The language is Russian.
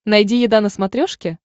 найди еда на смотрешке